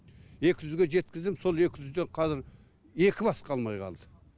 екі жүзге жеткіздім сол екі жүзде қазір екі бас қалмай қалды